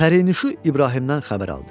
Pərinüşu İbrahimdən xəbər aldı.